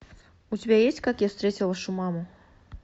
у тебя есть как я встретил вашу маму